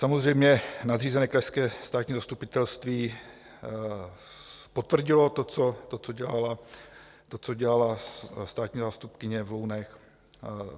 Samozřejmě nadřízené Krajské státní zastupitelství potvrdilo to, co dělala státní zástupkyně v Lounech.